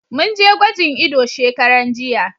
Mun je gwajin ido shekaran jiya.